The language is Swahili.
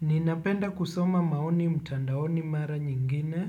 Ninapenda kusoma maoni mtandaoni mara nyingine,